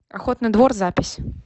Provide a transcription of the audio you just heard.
охотный двор запись